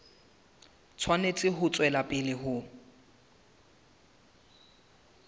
tshwanetse ho tswela pele ho